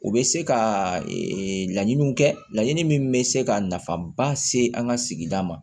U bɛ se ka laɲiniw kɛ laɲini min bɛ se ka nafaba se an ka sigida ma